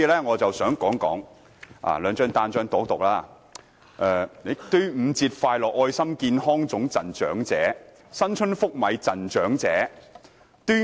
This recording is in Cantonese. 我先讀出這兩張傳單的標題："端午節快樂愛心健康粽贈長者"、"新春福米贈長者"。